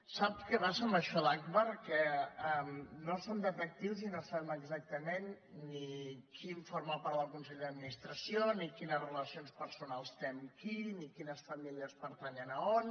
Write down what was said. sap què passa amb això d’agbar que no som detectius i no sabem exactament ni qui forma part del consell d’administració ni quines relacions personals té amb qui ni quines famílies pertanyen a on